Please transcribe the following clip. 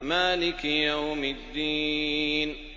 مَالِكِ يَوْمِ الدِّينِ